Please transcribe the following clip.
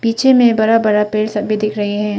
पीछे में बड़ा बड़ा पेड़ सभी दिख रहे है।